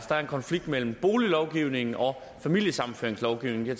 der er en konflikt mellem boliglovgivningen og familiesammenføringslovgivningen i